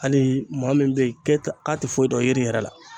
Hali maa min bɛ kɛ a tɛ foyi dɔn yiri yɛrɛ la